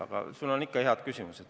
Aga sul on ikka ja alati head küsimused.